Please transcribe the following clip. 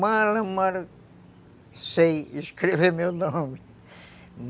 Mal, mal sei escrever meu nome